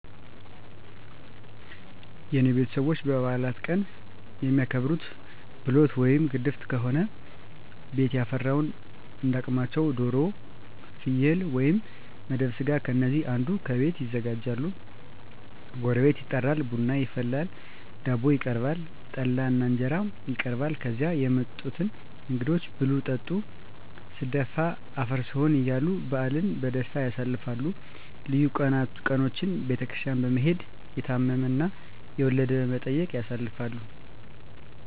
የኔ ቤተሰቦች በበዓላት ቀን የሚያከብሩት፦ ብሎት ወይም ግድፍት ከሆነ ቤቱ ያፈራውን እንዳ አቅማቸው ዶሮ፣ ፍየል ወይም መደብ ስጋ ከነዚህ አንዱን ከቤት ያዘጋጃሉ ጎረቤት ይጠራል፣ ቡና ይፈላል፣ ዳቦ ይቀርባል፣ ጠላ እና እንጀራም ይቀርባል ከዚያ የመጡትን እንግዶች ብሉ ጠጡ ስደፋ አፈር ስሆን እያሉ በዓልን በደስታ ያሳልፋሉ። ልዩ ቀኖችን ቤተክርስቲያን በመሔድ፣ የታመመ እና የወለደ በመጠየቅ ያሳልፋሉ።